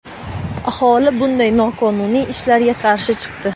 Aholi bunday noqonuniy ishlarga qarshi chiqdi.